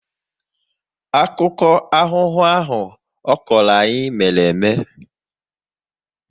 Akụkọ aghụghọ ahụ ọ kọrọ anyị mere eme